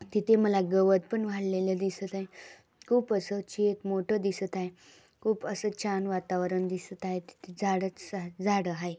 तिथे माला गवत पण वाढलेले दिसत आहे. खूप अस मोठा चेक दिसत आहे. खूप अस छन वातवरण दिसत आहे तिथे झाडच झाडे आहेत.